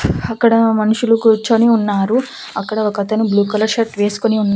అక్కడ మనుషులు కూర్చొని ఉన్నారు అక్కడ ఒకతను బ్లూ కలర్ షర్ట్ వేస్కొని ఉన్--